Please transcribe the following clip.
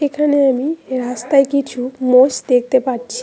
এখানে আমি রাস্তায় কিছু মোষ দেখতে পাচ্ছি।